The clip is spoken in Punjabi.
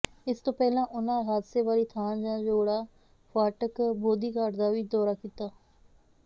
ਇਸ ਤੋਂ ਪਹਿਲਾਂ ਉਨ੍ਹਾਂ ਹਾਦਸੇ ਵਾਲੀ ਥਾਂ ਜੌੜਾ ਫਾਟਕ ਬੋਧੀਘਾਟ ਦਾ ਵੀ ਦੌਰਾ ਕੀਤਾ